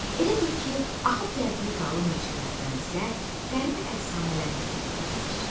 Elə bil ki, axıb gəldiyi qalın meşələrdən bizə qəribə əfsanələr hekayət eləyir.